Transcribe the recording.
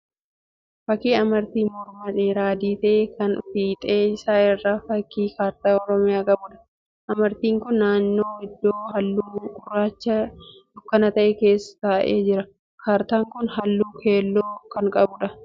Fakkii amartii mormaa dheeraa adii ta'ee kan fiixee isaa irraa fakkii kaartaa Oromiyaa qabuudha. Amartiin kun naannoo iddoo halluu gurraacha dukkana ta'e keessa taa'ee jira. Kaartaan kun halluu keelloo kan qabuudha.